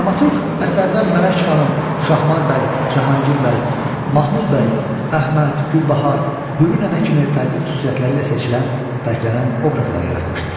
Dramaturq əsərdə Mələk xanım, Şahmar bəy, Cahangir bəy, Mahmud bəy, Əhməd, Gülbahar, Hürü nənə kimi fərqli xüsusiyyətləri ilə seçilən, fərqlənən obrazlar yaratmışdır.